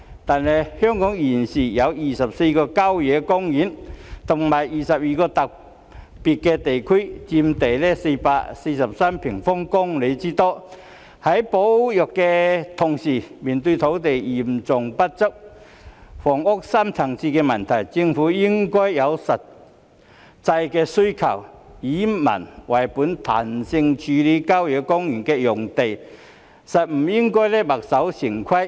但是，香港現時有24個郊野公園和22個特別地區，佔地443平方公里之多，在保育的同時，面對土地嚴重不足，房屋深層次的問題，政府應該因應實際的需求，以民為本，彈性處理郊野公園用地，不應該墨守成規。